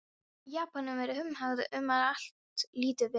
Japönum er umhugað um, að allt líti vel út.